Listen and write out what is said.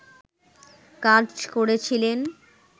কাজ করেছিলেন